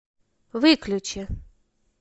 выключи